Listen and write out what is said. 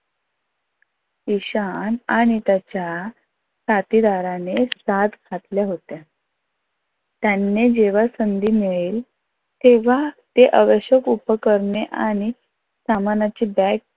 ईशान आणि त्याच्या साथीदाराने सात घातल्या होत्या. त्यांना जेव्हा संधी मिळेल तेव्हा ते आवश्यक उपकरणे आणि सामानाची बॅग